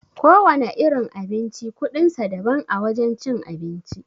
Kowana irin abinci kuɗin sa daban a wajen cin abinci.